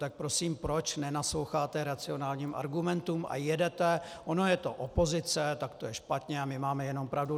Tak prosím, proč nenasloucháte racionálním argumentům a jedete - ona je to opozice, tak to je špatně a my máme jenom pravdu.